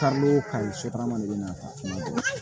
Taa n'o ka ɲi sotarama de bɛ